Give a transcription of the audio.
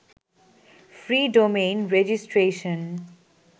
free domain registration